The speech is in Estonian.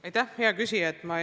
Aitäh, hea küsija!